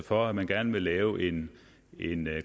for at man gerne vil lave en